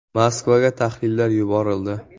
Moskvaga tahlillar yuborildi.